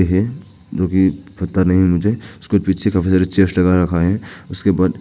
है जो कि पता नहीं मुझे उसके पीछे काफी सारे चेयर्स लगा रखा है उसके बाद--